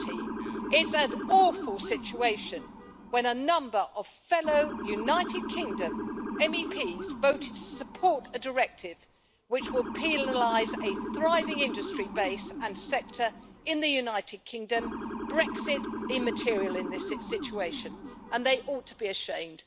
13. It is an awful situation when a number of fellow United Kingdom MEPs voted to support a directive which will penalise a thriving industry base and sector in the United Kingdom Brexit immaterial in this situation and they ought to be ashamed.